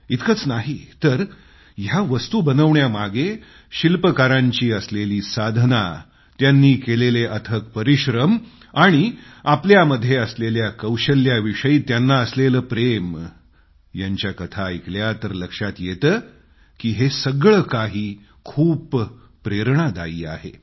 इतकंच नाही तर या वस्तू बनवण्याच्यामागे शिल्पकारांची असलेली साधना त्यांनी केलेले अथक परिश्रम आणि आपल्यामध्ये असलेल्या हुन्नर विषयी त्यांना असलेलं प्रेम यांच्या कथा ऐकल्या तर लक्षात येतं हे सगळं काही खूप प्रेरणादायी आहे